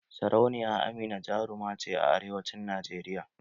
Sarauniya Amina jaruma ce a arewancin Najeriya.